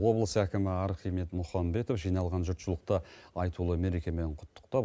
облыс әкімі архимед мұхамбетов жиналған жұртшылықты айтулы мерекемен құттықтап